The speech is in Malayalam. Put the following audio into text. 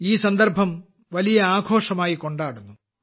ഈ സന്ദർഭം വലിയ ആഘോഷമായി കൊണ്ടാടുന്നു